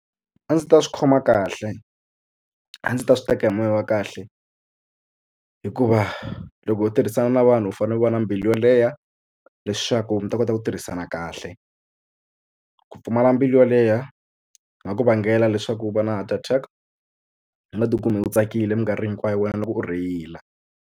A ndzi ta swi khoma kahle a ndzi ta swi teka hi moya wa kahle hikuva loko u tirhisana na vanhu u fanele u va na mbilu yo leha leswaku mi ta kota ku ku tirhisana kahle ku pfumala mbilu yo lehha swi nga ku vangela leswaku va na heart attack u nga tikuma u tsakile mikarhi hinkwayo wena loko u rheyila.